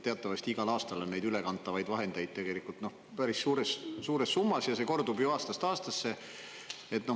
Teatavasti on igal aastal neid ülekantavaid vahendeid päris suures summas ja see kordub ju aastast aastasse.